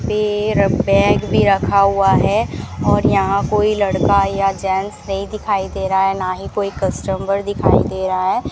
पैर बैग भी रखा हुआ है और यहां कोई लड़का या जेंट्स नहीं दिखाई दे रहा है ना ही कोई कस्टमर दिखाई दे रहा है।